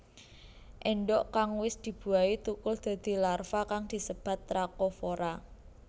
Endhog kang wis dibuahi tukul dadi larva kang disebat trakofora